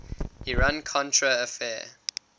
iran contra affair